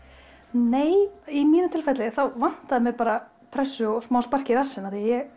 nei í mínu tilfelli þá vantaði mig bara pressu og smá spark í rassinn því ég